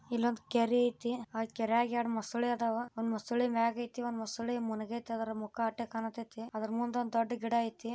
ಇವನ್ ಕೆರೆ ಇದೆ ಕೆರೆದಾಗ ಎರಡು ಮೊಸಳೆ ಐತೆ ಒಂದ್ ಮೊಸಳೆ ಮೇಲೆ ಅದರ ಮುಂದೆ ಒಂದು ದೊಡ್ಡ ಗಿಡ ಇದೆ